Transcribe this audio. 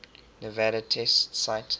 nevada test site